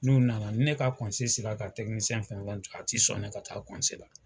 N'u nana ne ka sera ka fɛn fɛn a tɛ sɔn ne ka taa la